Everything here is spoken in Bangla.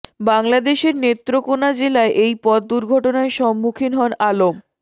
বাংলাদেশের নেত্রকোনা জেলায় এই পথ দুর্ঘটনায় সম্মুখীন হন আলম